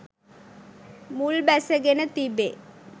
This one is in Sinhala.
මුල් බැසගෙන තිබේ.